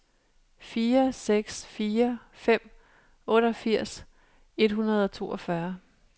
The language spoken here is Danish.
fire seks fire fem otteogfirs et hundrede og toogfyrre